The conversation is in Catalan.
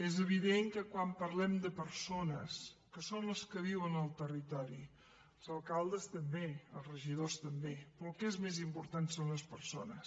és evident que quan parlem de persones que són les que viuen al territori els alcaldes també els regidors també però el que és més important són les persones